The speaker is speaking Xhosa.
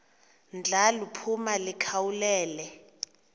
ndla liphuma likhawulele